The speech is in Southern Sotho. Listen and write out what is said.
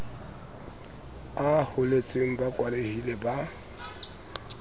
a holetseng ba kwalehile ba